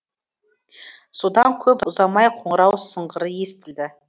содан көп ұзамай қоңырау сыңғыры естілді